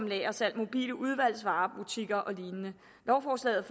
lagersalg i mobile udvalgsvarebutikker og lignende i lovforslaget